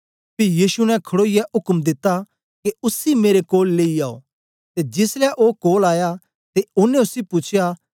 पी यीशु ने खडोईयै उक्म दिता के उसी मेरे कोल लेई आओ ते जिसलै ओ कोल आया ते ओनें उसी पूछया